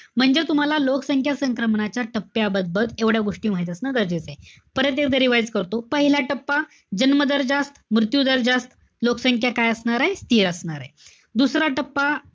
म्हणजे तुम्हाला लोकसंख्या संक्रमणाच्या टप्प्याबद्दल एवढ्या गोष्टी माहित असणं गरजेचं आहे. परत एकदा revise करतो. पहिला टप्पा, जन्म दर जास्त, मृत्यू दर जास्त. लोकसंख्या काय असणारे? स्थिर असणारे. दुसरा टप्पा,